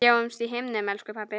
Sjáumst á himnum, elsku pabbi.